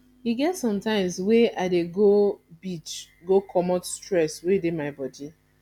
e get sometimes wey i dey go beach go comot stress wey dey my bodi